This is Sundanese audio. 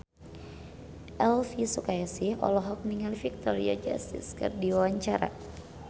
Elvy Sukaesih olohok ningali Victoria Justice keur diwawancara